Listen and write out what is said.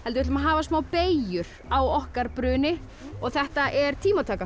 við ætlum að hafa smá beygjur á okkar bruni og þetta er tímataka